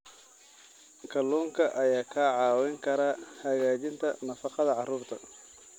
Kalluunka ayaa kaa caawin kara hagaajinta nafaqada carruurta.